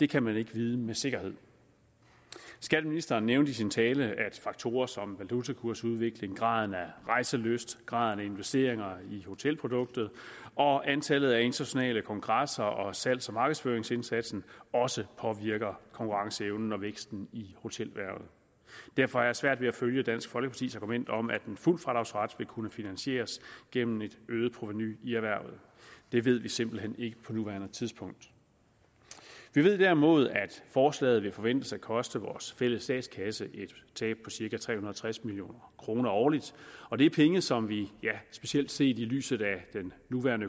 kan man ikke vide med sikkerhed skatteministeren nævnte i sin tale at faktorer som valutakursudvikling graden af rejselyst graden af investeringer i hotelproduktet og antallet af internationale kongresser og salgs og markedsføringsindsatsen også påvirker konkurrenceevnen og væksten i hotelerhvervet derfor har jeg svært ved at følge dansk folkepartis argument om at en fuld fradragsret vil kunne finansieres gennem et øget provenu i erhvervet det ved vi simpelt hen ikke på nuværende tidspunkt vi ved derimod at forslaget forventes at koste vores fælles statskasse et tab på cirka tre hundrede og tres million kroner årligt og det er penge som vi specielt set i lyset af den nuværende